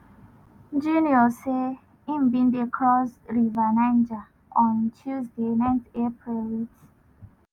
junior say im bin dey cross river niger on tuesday 9 april wit